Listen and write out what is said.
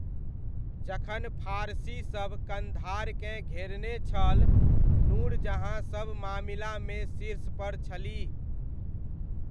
जखन फारसीसभ कन्धारकेँ घेरने छल, नूरजहाँ सब मामिलामे शीर्षपर छलीह।